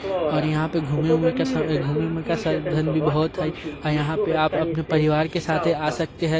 और यहा पर घूमे वूमे का घूमे वूमे का साधन बहुत है यहा पर आप अपने परिवार के साथ आ सकते हैं।